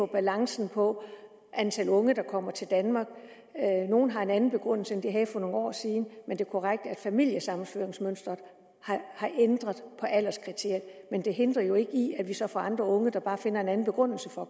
balancen er på antallet af unge der kommer til danmark nogle har en anden begrundelse end de havde for nogle år siden det er korrekt at familiesammenføringsmønsteret har ændret på alderskriteriet men det hindrer jo ikke at vi så får andre unge der bare finder en anden begrundelse for